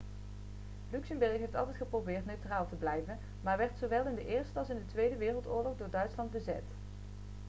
luxemburg heeft altijd geprobeerd neutraal te blijven maar werd zowel in de eerste als in de tweede wereldoorlog door duitsland bezet